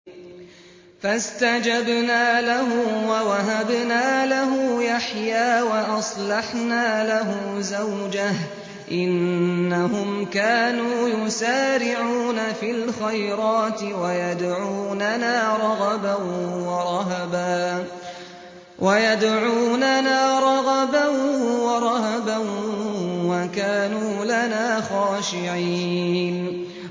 فَاسْتَجَبْنَا لَهُ وَوَهَبْنَا لَهُ يَحْيَىٰ وَأَصْلَحْنَا لَهُ زَوْجَهُ ۚ إِنَّهُمْ كَانُوا يُسَارِعُونَ فِي الْخَيْرَاتِ وَيَدْعُونَنَا رَغَبًا وَرَهَبًا ۖ وَكَانُوا لَنَا خَاشِعِينَ